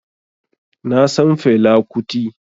Na san Fela Kuti